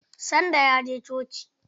Sunday ya je coci.